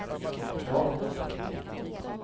kropp